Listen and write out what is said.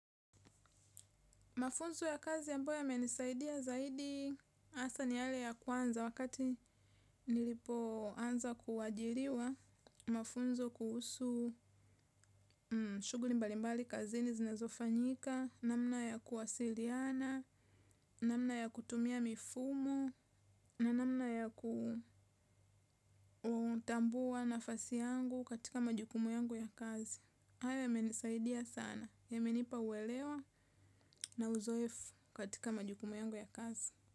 Mafunzo ya kazi ambayo yamenisaidia zaidi hasa ni yale ya kwanza wakati nilipo anza kuajiriwa mafunzo kuhusu shughuli mbalimbali kazini zinezofanyika, namna ya kuwasiliana, namna ya kutumia mifumo, na namna ya ku kutambua nafasi yangu katika majukumu yangu ya kazi. Hayo yamenisaidia sana yamenipa uelewa na uzoefu katika majukumu yangu ya kazi.